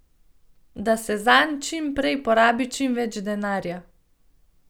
Da se zanj čim prej porabi čim več denarja.